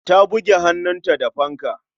Ta buge hannunta da fanka.